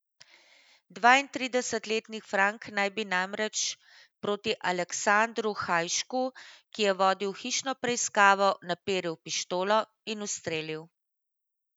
Dvaintridesetletni Frank naj bi namreč proti Aleksandru Hajšku, ki je vodil hišno preiskavo, naperil pištolo in ustrelil.